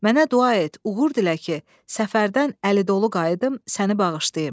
Mənə dua et, uğur dilə ki, səfərdən əli dolu qayıdım, səni bağışlayım.